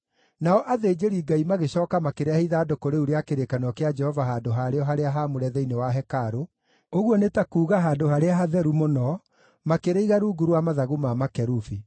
Nao athĩnjĩri-Ngai magĩcooka makĩrehe ithandũkũ rĩu rĩa kĩrĩkanĩro kĩa Jehova handũ harĩo harĩa haamũre thĩinĩ wa hekarũ, ũguo nĩ ta kuuga Handũ-harĩa-Hatheru-Mũno, makĩrĩiga rungu rwa mathagu ma makerubi.